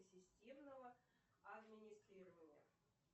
системного администрирования